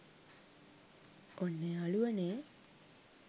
ඔන්න යාළුවනේ